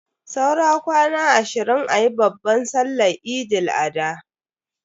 Saura kwana ashirin ayi babban sallan Eid Al-adha.